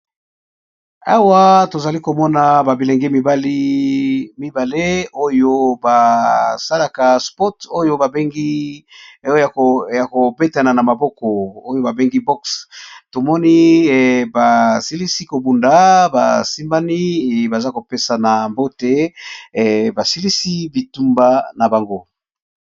Awa tozali komona ba bilenge mibale oyo basalaka sport. Oyo babengi kobetana na maboko oyo babengi box tomoni basilisi kobunda basimbani baza kopesa na mbote basilisi bitumba na bango.